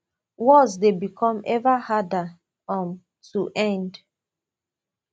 wars dey become eva harder um to end